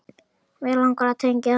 Mig langar að tengja.